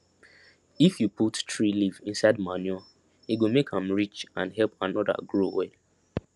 if you put tree leaf inside manure e go make am rich and help another grow well